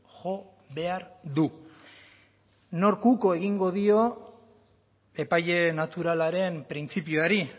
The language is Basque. jo behar du nork uko egingo dio epaile naturalaren printzipioari